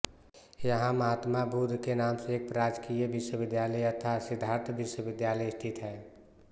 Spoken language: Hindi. यहां महात्मा बुद्ध के नाम से एक राजकीय विश्वविद्यालय यथा सिद्धार्थ विश्वविद्यालय स्थित है